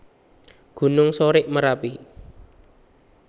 Gunung Sorik Marapi